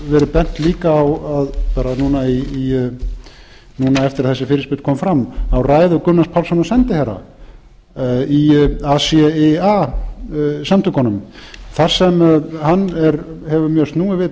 verið bent líka á að bara núna eftir að þessi fyrirspurn kom fram á ræðu gunnars pálssonar sendiherra í acia samtökunum þar sem hann hefur snúið við